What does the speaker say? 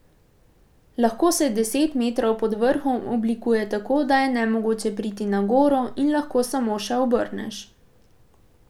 Lahko se deset metrov pod vrhom oblikuje tako, da je nemogoče priti na goro in lahko samo še obrneš.